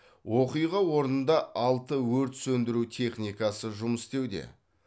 оқиға орнында алты өрт сөндіру техникасы жұмыс істеуде